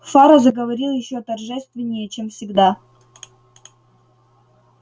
фара заговорил ещё торжественнее чем всегда